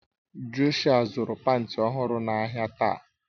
Jọshụa zuru panti ọhụrụ n'ahia taa